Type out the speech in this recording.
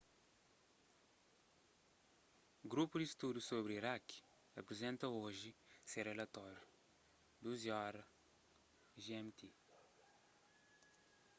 grupu di studu sobri iraki aprizenta oji se rilatóriu 12:00 gmt